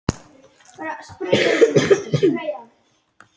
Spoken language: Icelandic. En hann var bara ekki heima núna.